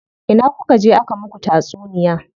Ina kuka je aka muku tatsuniya?